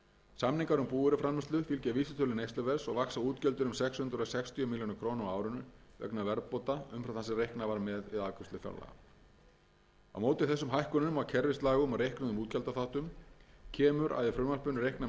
samningar um búvöruframleiðslu fylgja vísitölu neysluverðs og vaxa útgjöldin um sex hundruð sextíu milljónir króna á árinu vegna verðbóta umfram það sem reiknað var með við afgreiðslu fjárlaga á móti þessum hækkunum á kerfislægum og reiknuðum útgjaldaþáttum kemur að í frumvarpinu er reiknað með